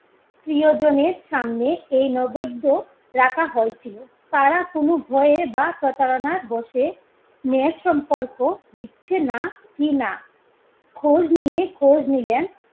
প্রিয়জনের সামনে এই নৈবদ্য রাখা হয়েছিল, তারা কোনো ভয়ে বা প্রতারনার বশে ন্যায়ের সম্পর্ক দিচ্ছে কি না, খোঁজ নিয়ে খোঁজ নিলেন